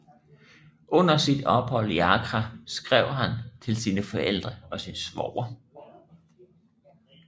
Under sit ophold i Accra skrev han til sine forældre og sin svoger